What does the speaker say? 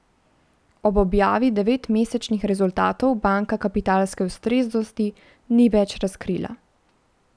Ob objavi devetmesečnih rezultatov banka kapitalske ustreznosti ni več razkrila.